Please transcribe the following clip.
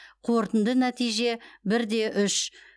қорытынды нәтиже бір де үш